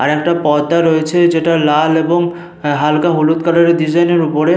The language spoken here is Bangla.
আর একটা পর্দা রয়েছে যেটা লাল এবং হালকা হলুদ কালার এর ডিসাইন এর ওপরে।